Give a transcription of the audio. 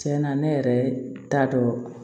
Tiɲɛna ne yɛrɛ t'a dɔn